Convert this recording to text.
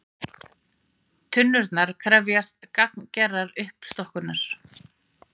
Tunnurnar krefjast gagngerrar uppstokkunar